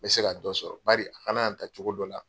N be se ka dɔ sɔrɔ bari han'an ta cogo dɔ la